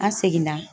An seginna